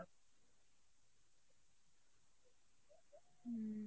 হম